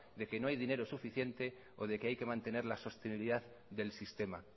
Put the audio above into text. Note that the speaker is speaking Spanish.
de que no hay dinero suficiente o de que hay que mantener la sostenibilidad del sistema